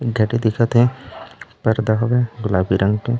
एक गाड़ी दिखत हे पर्दा हॉवे गुलाबी रंग के--